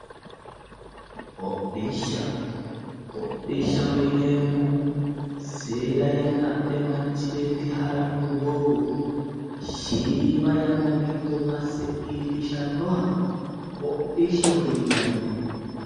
Hodhishsha hodhishshaho yineemmohu, seeda yanna adhe manchi beetti haranno doogo shiima yanna giddo masse iillishannoha hodhishshaho yinanni.